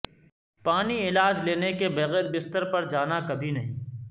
پانی علاج لینے کے بغیر بستر پر جانا کبھی نہیں